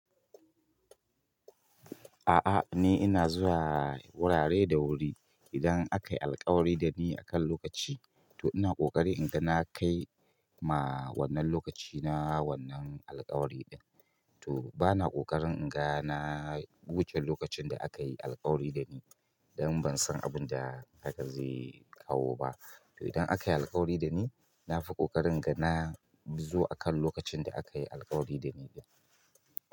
A'a ni ina zuwa wurare da wuri. Idan aka yi alkawari da ni akan lokaci to ina ƙoƙari in ga na kai ma wannan lokaci na wannan alkawari ɗin. To bana ƙoƙarin in ga na wuce lokacin da aka yi alkawari da ni dan ban san abun da haka zai kawo ba. To idan aka yi alkawari da ni, na fi ƙoƙarin ga na zo akan lokacin da aka yi alkawari da ni.